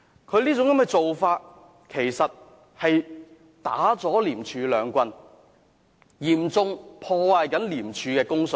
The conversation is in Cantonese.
他這種做法其實是打了廉署兩棒，嚴重破壞廉署的公信力。